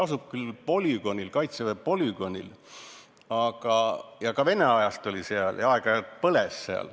See asub Kaitseväe polügoonil ja ka Vene ajal seal aeg-ajalt põles.